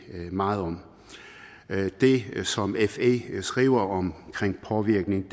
meget om det som fe skriver om påvirkning